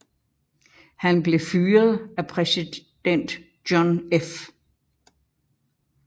Han blev fyret af præsident John F